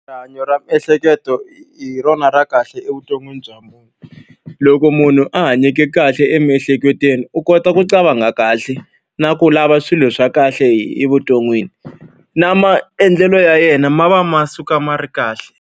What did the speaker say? Rihanyo ra miehleketo hi rona ra kahle evuton'wini bya munhu. Loko munhu a hanyeke kahle emiehleketweni, u kota ku cabanga kahle na ku lava swilo swa kahle evuton'wini. Na maendlelo ya yena ma va ma suka ma ri kahle.